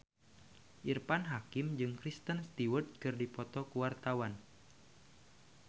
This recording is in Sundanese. Irfan Hakim jeung Kristen Stewart keur dipoto ku wartawan